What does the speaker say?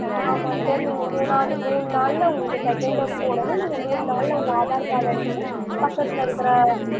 ஆமா sir நீங்க மூணாவது மூணு நாளுல உங்களுக்கு second dose போடணும் நீங்க மூணு நாளுல உங்களோட aadhar card எடுத்துக்கிட்டு பக்கத்துல இருக்கிற